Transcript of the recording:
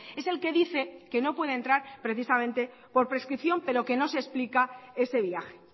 es el que dice que no puede entrar precisamente por prescripción pero que no se explica ese viaje